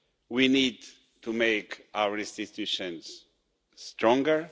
We need to make our institutions stronger.